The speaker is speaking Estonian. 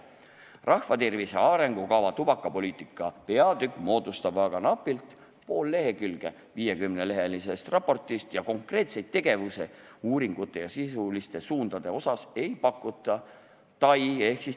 Rahvatervise arengukava tubakapoliitika peatükk moodustab aga napilt pool lehekülge 50-lehelisest raportist ning konkreetseid tegevusi uuringute ja sisuliste suundade mõttes ei pakuta.